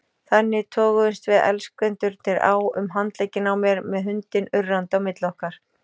Þannig toguðumst við elskendurnir á um handlegginn á mér með hundinn urrandi á milli okkar.